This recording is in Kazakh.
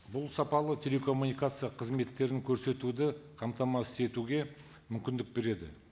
бұл сапалы телекоммуникация қызметтерін көрсетуді қамтамасыз етуге мүмкіндік береді